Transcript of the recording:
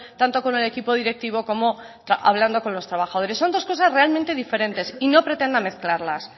tanto con el equipo directivo como hablando con los trabajadores son dos cosas realmente diferentes y no pretenda mezclarlas